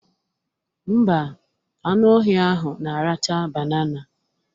Ḿbà, anụ ọhịa ahụ na-aracha banana